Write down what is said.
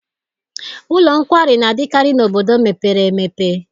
Ụlọ nkwari na-adịkarị n'obodo mepere emepe.